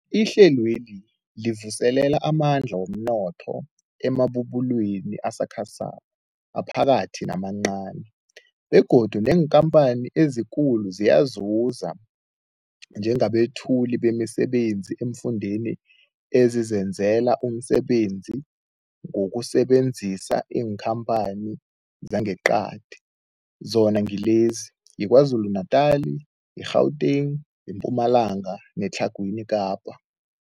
Ihlelweli livuselela amandla womnotho emabubulweni asakhasako, aphakathi namancani begodu neenkhamphani ezikulu ziyazuza njengabethuli bemisebenzi eemfundeni ezizenzela umsebenzi ngokusebenzisa iinkhamphani zangeqadi, zona ngilezi, yiKwaZulu Natala, i-Gauteng, iMpumalanga neTlhagwini Kapa.